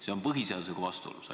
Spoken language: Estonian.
See on põhiseadusega vastuolus.